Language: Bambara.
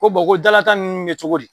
Ko bɔn ko dala tan ninnu bɛ kɛ cogo di?